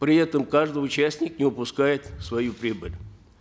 при этом каждый участник не упускает свою прибыль